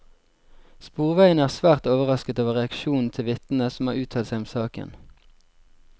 Sporveiene er svært overrasket over reaksjonen til vitnene som har uttalt seg om saken.